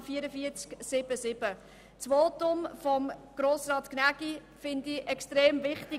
Ich finde das Votum von Grossrat Gnägi extrem wichtig.